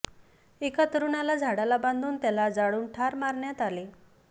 एका तरुणाला झाडाला बांधून त्याला जाळून ठार मारण्यात आले